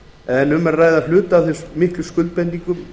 en um er að ræða hluta af þeim miklu skuldbindingum